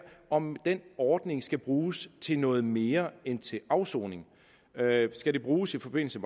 om den ordning skal bruges til noget mere end til afsoning skal den bruges i forbindelse